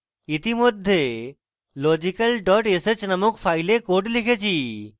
ইতিমধ্যে logical dot sh named file code লিখেছি